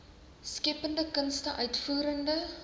skeppende kunste uitvoerende